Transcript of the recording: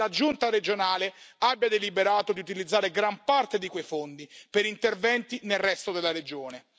Pare che la giunta regionale abbia deliberato di utilizzare gran parte di quei fondi per interventi nel resto della regione.